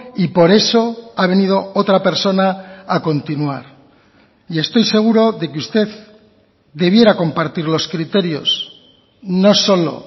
y por eso ha venido otra persona a continuar y estoy seguro de que usted debiera compartir los criterios no solo